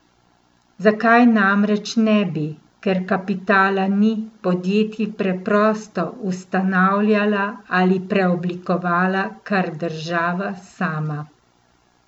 Zakaj namreč ne bi, ker kapitala ni, podjetij preprosto ustanavljala ali preoblikovala kar država sama?